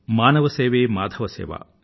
మానవ సేవే మాధవ సేవ